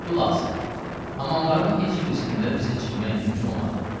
Xülasə, hamamların heç birisində bizə çimmək mümkün olmadı.